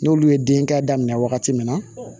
N'olu ye denkɛ daminɛ wagati min na